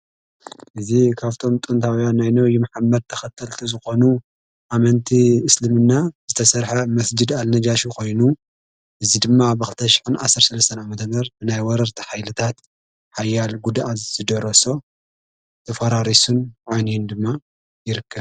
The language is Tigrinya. እዝ ኻብቶም ጦንታብያ ናይኖ ይመሓማድ ተኸተልቲ ዝኾኑ ኣመንቲ እስልምና ዝተሠርሐ መስጅድ ኣልነጃሽ ኾይኑ እዙይ ድማ ኣብኽተሽሕን ዓሠር ሥለሰና መተመር ምናይ ወረርቲ ኃይንታት ሓያል ጕድእ ዝደረሶ ተፈራሪሱን ዓንዩን ድማ ይርከብ።